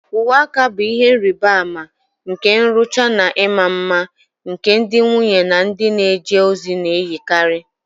Uwe aka bụ ihe nrịbama nke nrụcha na ịma mma, nke ndị nwunye na ndị na-eje ozi na-eyikarị.